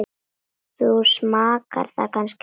Þú smakkar það kannski aldrei?